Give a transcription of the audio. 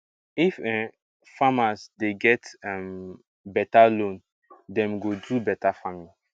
if um farmers dey get um beta loan dem go do beta farming